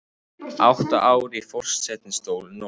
Átta ár í forsetastóli nóg